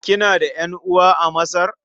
Kina da ƴan'uwa a Masar?